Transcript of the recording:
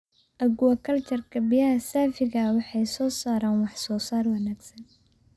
Aquaculture-ka biyaha saafiga ah waxay soo saaraan wax-soosaar wanaagsan.